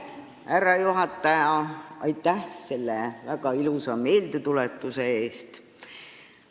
Härra juhataja, aitäh selle väga ilusa meeldetuletuse eest!